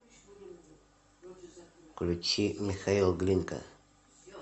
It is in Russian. включи михаил глинка